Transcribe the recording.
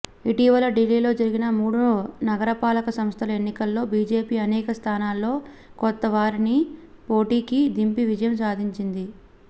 ఇటీవల ఢిల్లీలో జరిగిన మూడు నగరపాలక సంస్థల ఎన్నికల్లో బీజేపీ అనేక స్థానాల్లో కొత్తవారిని పోటీకి దింపి విజయం సాధించింది